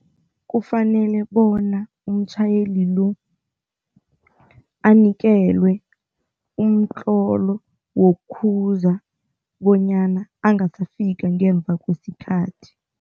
Kufanele bona umtjhayeli lo anikelwe umtlolo wokukhuza bonyana angasafaka ngemva kwesikhathi.